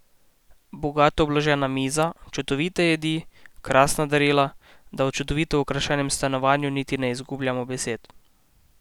Bogato obložena miza, čudovite jedi, krasna darila, da o čudovito okrašenem stanovanju niti ne izgubljamo besed.